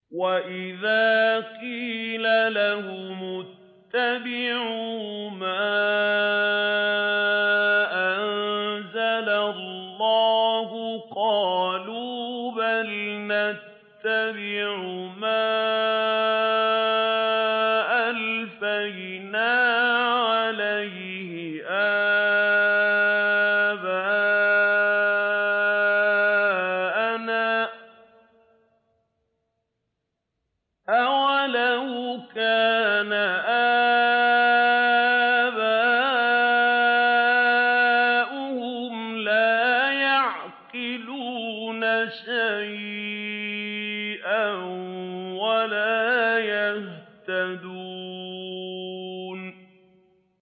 وَإِذَا قِيلَ لَهُمُ اتَّبِعُوا مَا أَنزَلَ اللَّهُ قَالُوا بَلْ نَتَّبِعُ مَا أَلْفَيْنَا عَلَيْهِ آبَاءَنَا ۗ أَوَلَوْ كَانَ آبَاؤُهُمْ لَا يَعْقِلُونَ شَيْئًا وَلَا يَهْتَدُونَ